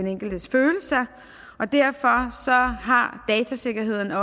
enkeltes følelser derfor har datasikkerheden